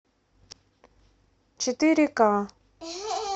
четыре к